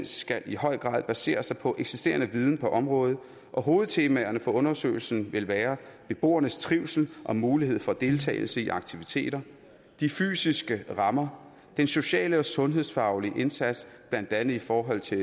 skal i høj grad basere sig på eksisterende viden på området og hovedtemaerne for undersøgelsen vil være beboernes trivsel og mulighed for deltagelse i aktiviteter de fysiske rammer den sociale og sundhedsfaglige indsats blandt andet i forhold til